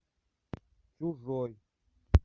чужой